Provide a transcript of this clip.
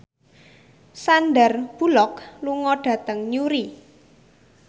Sandar Bullock lunga dhateng Newry